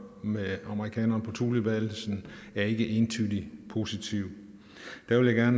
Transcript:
med amerikanerne på thulebasen er ikke entydig positiv der vil jeg